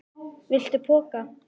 Viltu poka?